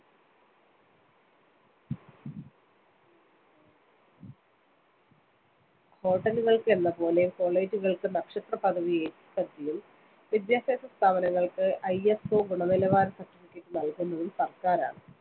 Hotel കൾക്ക് എന്നപോലെ college കൾക്ക്‌ നക്ഷത്രപദവി ഏർപ്പെടുത്തിയതും വിദ്യാഭ്യാസ സ്ഥാപനങ്ങൾക്ക്‌ ISO ഗുണനിലവാര certificate നൽകുന്നതും സർക്കാരാണ്‌.